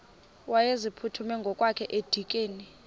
wayeziphuthume ngokwakhe edikeni